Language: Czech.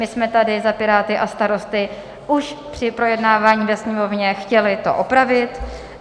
My jsme tady za Piráty a Starosty už při projednávání ve Sněmovně chtěli to opravit.